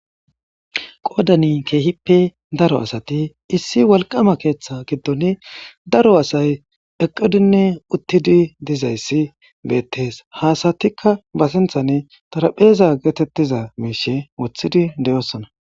qoodani keehippe daro asati issi walqama keeththa giddon daro asay eqqudinne uttidi dizayssi beettees haasatikka ba sinthani tarapheeza geetettiza miishe wothidi deyossona